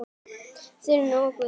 Þyri og Guðni.